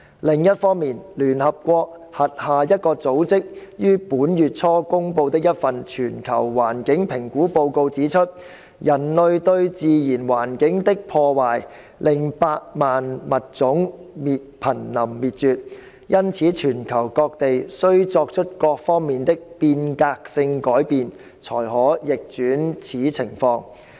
另一方面，聯合國轄下一個組織於本月初公布的一份全球環境評估報告指出，人類對自然環境的破壞令百萬物種瀕臨滅絕，因此全球各地需作出各方面的"變革性改變"才可逆轉此情況。